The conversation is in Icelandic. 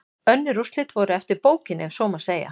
Önnur úrslit voru eftir bókinni ef svo má segja.